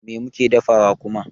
Me muke dafawa kuma?